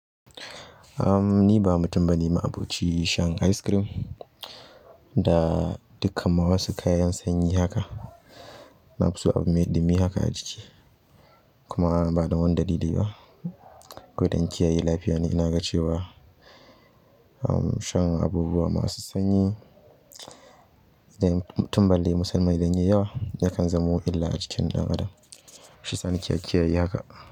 Ni ba mutum bane ma'abocin shan ice cream da dukan ma wasu kayan sanyi haka. Na fi so abu mai ɗumi haka a jiki kuma ba don wani dalili ba. Ko dan kiyaye lafiya ne. Ina ga cewa shan abubuwa masu sanyi, idan mutum musamman me yawa yakan zamo illa a jikin ɗan adam. Shi sani kiyaye haka.